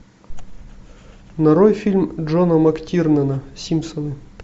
нарой фильм джона мактирнана симпсоны